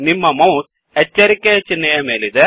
ನಿಮ್ಮ ಮೌಸ್ ಎಚ್ಚರಿಕೆ ಚಿಹ್ನೆಯ ಮೇಲಿದೆ